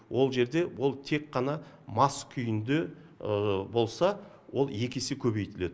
ол жерде ол тек қана мас күйінде болса ол екі есе көбейтіледі